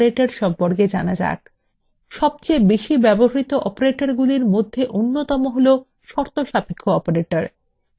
সবচেয়ে বেশি ব্যবহৃত অপারেটগুলির মধ্যে অন্যতম শর্তসাপেক্ষ operator